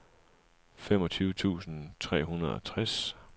femogtyve tusind tre hundrede og tres